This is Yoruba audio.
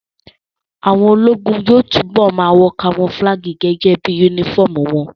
Àwọn ológun yóò túbọ̀ ma wọ kamofúlágì gẹ́gẹ́ bí yúnífọ̀mù wọn